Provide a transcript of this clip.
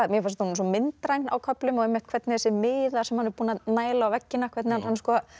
mér fannst hún svo myndræn á köflum og hvernig þessir miðar sem hann er búinn að næla á veggina hvernig hann